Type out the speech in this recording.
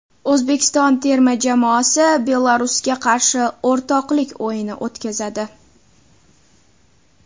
O‘zbekiston terma jamoasi Belarusga qarshi o‘rtoqlik o‘yini o‘tkazadi.